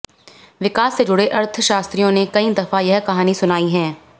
विकास से जुड़े अर्थशास्त्रियों ने कई दफा यह कहानी सुनाई है